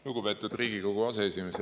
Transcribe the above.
Lugupeetud Riigikogu aseesimees!